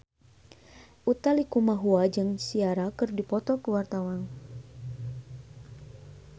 Utha Likumahua jeung Ciara keur dipoto ku wartawan